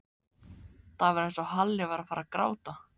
Það var eins og Halli væri að fara að gráta.